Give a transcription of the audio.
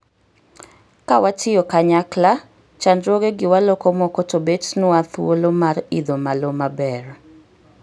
Kawatiyo kanyakla, chandruogegi waloko moko tobtnwa thuolo mar idho malo maber.